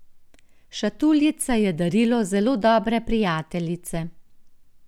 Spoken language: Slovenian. Šatuljica je darilo zelo dobre prijateljice.